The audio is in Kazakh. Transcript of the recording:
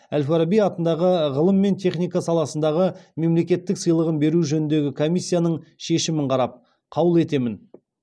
әл фараби атындағы ғылым мен техника саласындағы мемлекеттік сыйлығын беру жөніндегі комиссияның шешімін қарап қаулы етемін